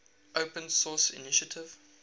open source initiative